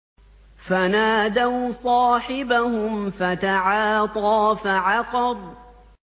فَنَادَوْا صَاحِبَهُمْ فَتَعَاطَىٰ فَعَقَرَ